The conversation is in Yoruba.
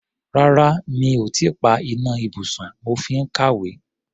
Rárá, mi ò tí ì pa iná ibùsùn, mo fi ń kàwé.